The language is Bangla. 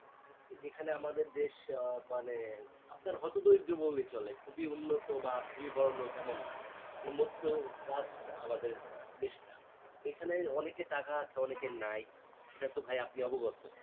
এখানে আমাদের দেশ আহ মানে আপনার হতো দরিদ্র বললেই চলে খুবই উন্নত বা খুবই বড়ো লোক এমন না মানে মধ্য বাস আমাদের দেশটা, এখানে অনেকের টাকা আছে অনেকের নাই সেটাতো ভাই আপনি অবগত